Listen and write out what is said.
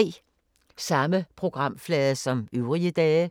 Samme programflade som øvrige dage